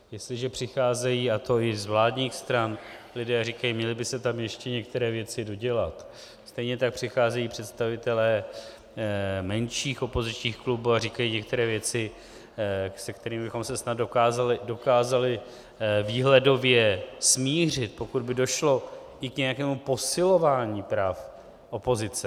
Jestliže přicházejí, a to i z vládních stran, lidé a říkají "měly by se tam ještě některé věci dodělat", stejně tak přicházejí představitelé menších opozičních klubů a říkají některé věci, se kterými bychom se snad dokázali výhledově smířit, pokud by došlo i k nějakému posilování práv opozice.